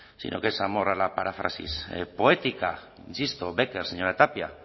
sino que es amor a la paráfrasis poética insisto bécquer señora tapia